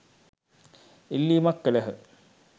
ඉල්ලීමක් කළහ.